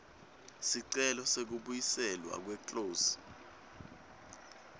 sicelo sekubuyiselwa kweclose